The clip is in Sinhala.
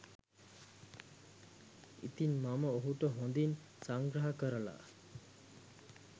ඉතින් මම ඔහුට හොඳින් සංග්‍රහ කරලා